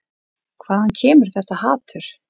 Hvaðan kemur þetta hatur?